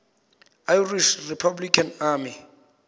irish republican army